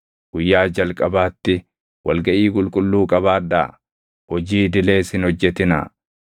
Guyyaa jalqabaatti wal gaʼii qulqulluu qabaadhaa; hojii idilees hin hojjetinaa.